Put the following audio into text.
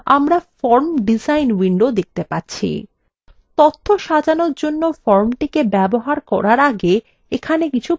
তথ্য সাজানোর জন্য ফর্মটিকে ব্যবহার করার আগে এখানে কিছু পরিবর্তন করা যাক